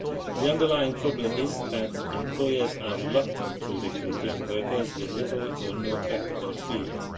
The underlying problem is that employers are reluctant to recruit young workers with little or no practical experience.